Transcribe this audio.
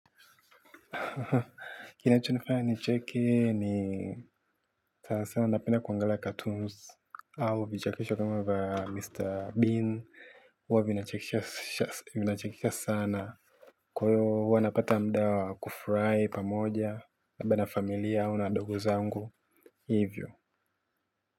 Kinachonifanya nicheki ni sana sana napenda kuangalia cartoons au vichapisho kama za mr bean huwa vinachekesha vinachekisha sana. Kwa hiyo huwa napata muda wa kufurahi pamoja na labda familia au na ndugu zangu hivyo.